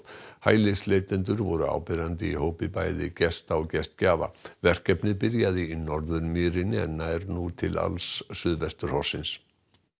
hælisleitendur voru áberandi í hópi bæði gesta og gestgjafa verkefnið byrjaði í Norðurmýrinni en nær nú til alls suðvesturhornsins